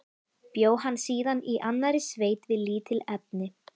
Bjó hann síðan í annarri sveit við lítil efni.